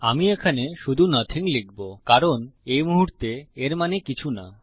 আমি এখানে শুধু নথিং লিখবো কারণ এই মুহুর্তে এর মানে কিছু না